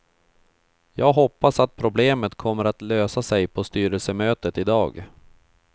Jag hoppas att problemet kommer att lösa sig på styrelsemötet i dag.